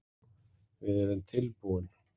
Við erum tilbúin